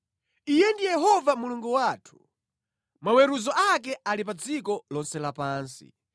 Iye ndiye Yehova Mulungu wathu; maweruzo ake ali pa dziko lonse lapansi.